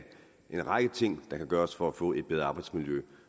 en række ting der kan gøres for at få et bedre arbejdsmiljø